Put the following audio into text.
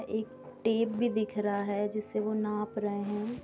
एक टेप भी दिख रहा है जिससे वो नाप रहे हें।